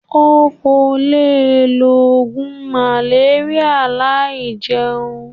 O o le lo ogun maleria lai jeun.